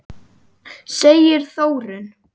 segir Þórunn.